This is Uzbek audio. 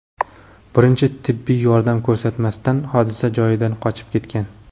birinchi tibbiy yordam ko‘rsatmasdan hodisa joyidan qochib ketgan.